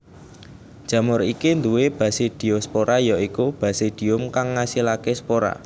Jamur iki duwé basidiospora ya iku basidium kang ngasilaké spora